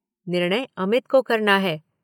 निर्णय अमित को करना है।